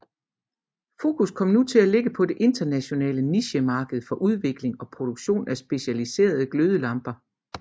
Fokus kom nu til at ligge på det internationale nichemarked for udvikling og produktion af specialiserede glødelamper